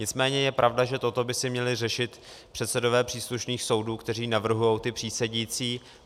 Nicméně je pravda, že toto by si měli řešit předsedové příslušných soudů, kteří navrhují ty přísedící.